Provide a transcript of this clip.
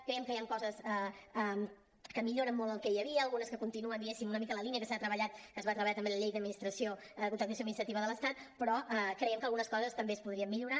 creiem que hi han coses que milloren molt el que hi havia algunes que continuen diguéssim una mica en la línia que es va treballar també en la llei de contractació administrativa de l’estat però creiem que algunes coses també es podrien millorar